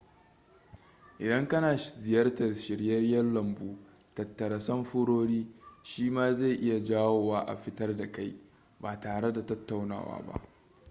idan kana ziyartar shiryayen lambu tattara samfurori shi ma zai iya jawo wa a fitar da kai ba tare da tattaunawa ba